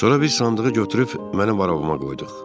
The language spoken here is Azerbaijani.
Sonra bir sandığı götürüb mənim arabamıza qoyduq.